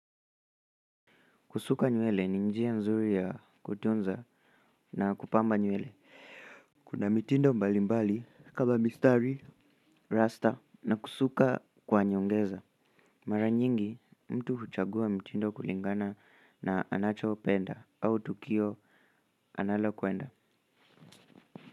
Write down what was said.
Kusuka nywele ni njia nzuri ya kutunza na kupamba nywele. Kuna mitindo mbalimbali kama mistari, rasta na kusuka kwa nyongeza. Mara nyingi mtu huchagua mtindo kulingana na anachopenda au tukio analo kuenda.